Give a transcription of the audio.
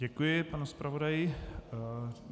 Děkuji panu zpravodaji.